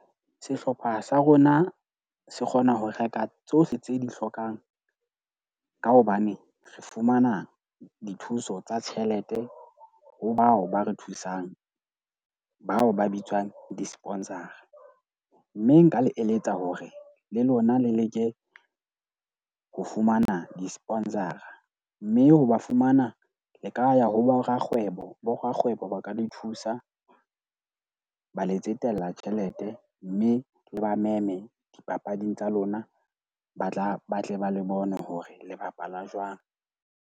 Sehlopha sa rona se kgona ho reka tsohle tseo di hlokang ka hobane re fumana dithuso tsa tjhelete ho bao ba re thusang, bao ba bitswang di-sponsor-a. Mme nka le eletsa hore le lona le leke ho fumana di-sponsor-a. Mme ho ba fumana le ka ya ho borakgwebo. Borakgwebo ba ka le thusa, ba le tsetela tjhelete. Mme le ba meme dipapading tsa lona, ba tla ba tle ba le bone hore le bapala jwang.